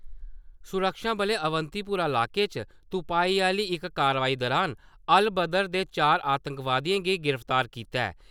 सुरक्षाबलें अवंतीपोरा इलाके च तुपाई आह्ली इक कार्रवाई दुरान अल-बदर दे च'ऊं आतंकवादियें गी गिरफ्तार कीता ऐ।